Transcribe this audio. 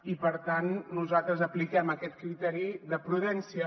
i per tant nosaltres apliquem aquest criteri de prudència